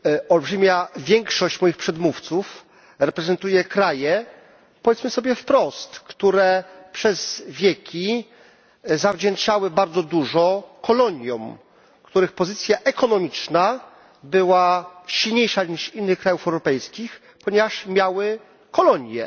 Olbrzymia większość moich przedmówców reprezentuje kraje powiedzmy sobie wprost które przez wieki zawdzięczały bardzo dużo koloniom, których pozycja ekonomiczna była silniejsza niż innych krajów europejskich, ponieważ miały kolonie.